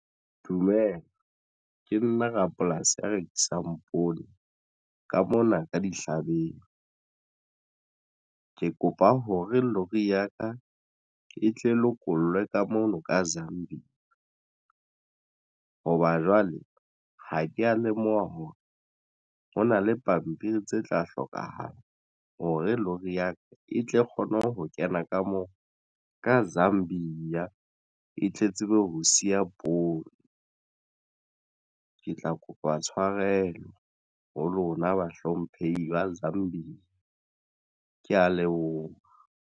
Dumela ke nna rapolasi ya rekisang poone ka mona ka dihlabeng. Ke kopa hore lori ya ka e tle lokollwe ka mono ka Zambia hoba jwale ha ke a lemoha hore hona le pampiri tse tla hlokahala hore lori ya ka e tle kgone ho kena ka moo ka Zambia eya e tle tsebe ho siya poone. Ke tla kopa tshwarelo ho lona bahlomphehi ba Zambie. Ke ya leboha